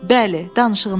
Bəli, danışığını bil.